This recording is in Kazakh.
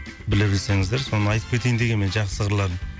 біле білсеңіздер соны айтып кетейін дегенмін жақсы қырларын